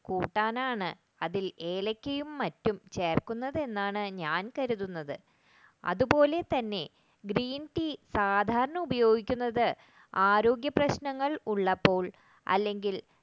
കൂട്ടാനാണ് ഏലക്കയും മറ്റും ചേർക്കുന്നത് എന്ന് ഞാൻ കരുതുന്നത് അതുപോലെതന്നെ green tea സാധാരണ ഉപയോഗിക്കുന്നത് ആരോഗ്യപ്രശ്നങ്ങൾ ഉള്ളപ്പോൾ അല്ലെങ്കിൽ